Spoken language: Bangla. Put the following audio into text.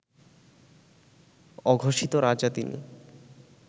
অঘোষিত রাজা তিনি